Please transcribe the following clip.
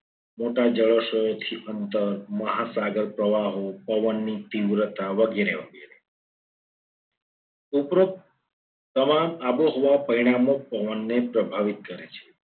મોટા જળાશયોથી અંતર લઈને મોટા મહાસાગર પ્રવાહો પવનની તીવ્રતા વગેરે વગેરે ઉપરોક્ત તમામ આબોહવા પરિણામો પવનને પ્રભાવિત કરે છે.